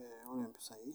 ee ore impisai